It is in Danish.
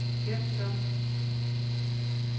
gem som